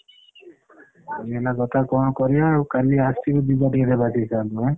ଏଇ ହେଲା କଥା କଣ କରିଆ ଆଉ କାଲି ଟିକେ ଆସିବୁ ଯିବା ଟିକେ ଭେଟି ଦେବା sir ଙ୍କୁ ଆଁ।